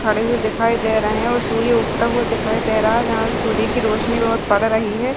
खड़े हुए दिखाई दे रहे हैं और सूर्य उगता हुआ दिखाई दे रहा है जहां से सूर्य की रोशनी बहुत पड़ रही है।